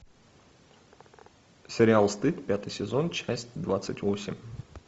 сериал стыд пятый сезон часть двадцать восемь